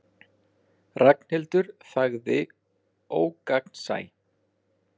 Ragnhildur þagði ógagnsæ.